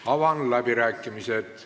Avan läbirääkimised.